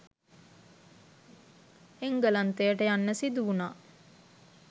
එංගලන්තයට යන්න සිදුවුණා.